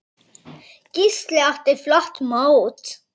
Gísli átti flott mót.